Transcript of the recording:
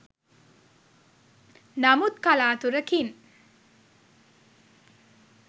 නමුත් කලාතුරකින්